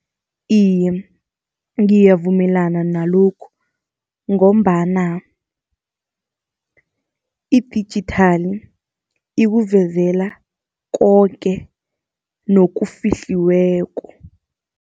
Iye, ngiyavumelana nalokhu, ngombana idijithali ikuvezela koke nokufihliweko.